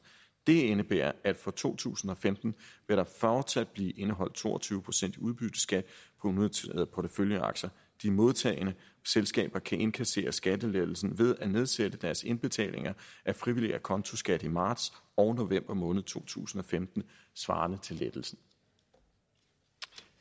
det indebærer at der for to tusind og femten fortsat vil blive indeholdt to og tyve procent i udbytteskat på unoterede porteføljeaktier de modtagende selskaber kan indkassere skattelettelsen ved at nedsætte deres indbetalinger af frivillig acontoskat i marts og november måned to tusind og femten svarende til lettelsen